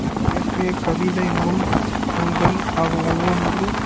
அவர் இயற்றிய கவிதை நூல்கள் ஒவ்வொன்றும்